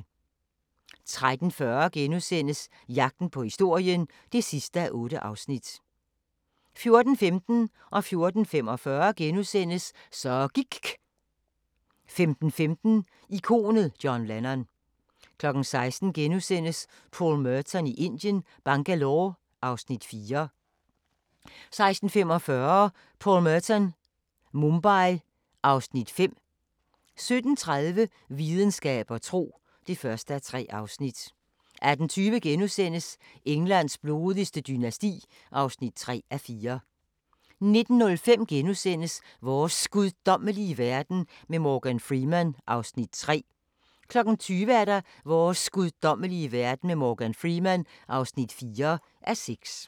13:40: Jagten på historien (8:8)* 14:15: Så gIKK' * 14:45: Så gIKK' * 15:15: Ikonet John Lennon 16:00: Paul Merton i Indien – Bangalore (Afs. 4)* 16:45: Paul Merton – Mumbai (Afs. 5) 17:30: Videnskab og tro (1:3) 18:20: Englands blodigste dynasti (3:4)* 19:05: Vores guddommelige verden med Morgan Freeman (3:6)* 20:00: Vores guddommelige verden med Morgan Freeman (4:6)